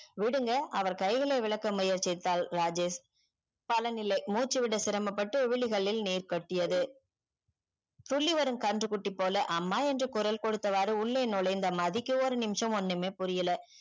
விடுங்க அவர் கைகளை விழக்க முயற்சித்தால் ராஜேஷ் பலநிலை மூச்சி விட சிரமம் பட்டு விளுகளில் நீர் கட்டியது துள்ளி வரும் கன்று குட்டி போல அம்மா என்று குரல் குடுத்த வாறு உள்ளே நுழைந்தே மதிக்கு ஒரு நிமிஷம் ஒன்னுமே புரியல